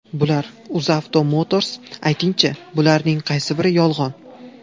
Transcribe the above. Bular: UzAuto Motors aytingchi, bularning qaysi biri yolg‘on?